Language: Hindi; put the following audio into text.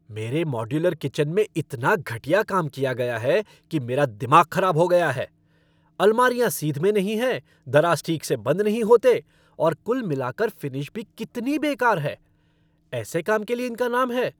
मेरे मॉड्यूलर किचन में इतना घटिया काम किया गया है कि मेरा दिमाग खराब हो गया है। अलमारियाँ सीध में नहीं हैं, दराज़ ठीक से बंद नहीं होते, और कुल मिलाकर फ़िनिश भी कितनी बेकार है। ऐसे काम के लिए इनका नाम है!